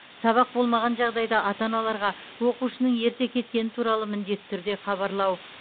сабақ болмаған жағдайда ата аналарға оқушының ерте кеткені туралы міндетті түрде хабарлау